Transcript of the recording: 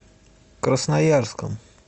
красноярском